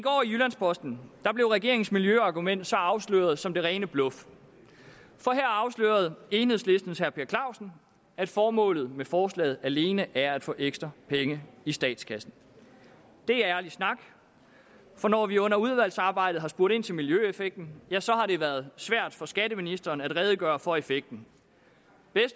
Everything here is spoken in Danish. jyllands posten blev regeringens miljøargument så afsløret som det rene bluff for her afslørede enhedslistens herre per clausen at formålet med forslaget alene er at få ekstra penge i statskassen det er ærlig snak for når vi under udvalgsarbejdet har spurgt ind til miljøeffekten ja så har det været svært for skatteministeren at redegøre for effekten